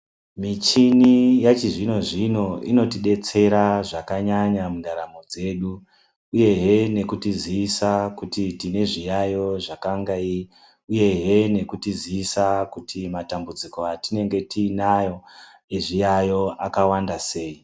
Michini yechizvino zvino inotidetsera zvakanyanya mundaramo dzedu ehe nekutizisa kuti tine zviyayo uye he nekutizisa kuti Matambudziko atinenge tinawo kuti ezviyayo akawanda sei.